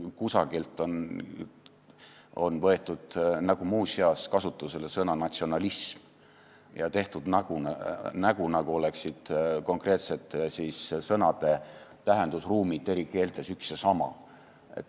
Kusagilt on võetud nagu muuseas kasutusele sõna "natsionalism" ja tehtud nägu, nagu oleksid konkreetsete sõnade tähendusruumid eri keeltes üks ja sama.